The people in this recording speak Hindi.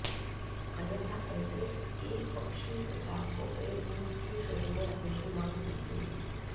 अन्यथा ऐसे एकपक्षीय प्रचार को पेड न्यूज की श्रेणी में रखने की मांग की गई